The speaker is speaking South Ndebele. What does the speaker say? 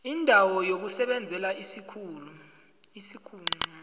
indawo yokusebenzela isikhulu